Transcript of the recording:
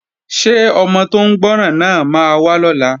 Ṣé ọmọ tó ń gbọ́ràn náà máa wá lọ́la?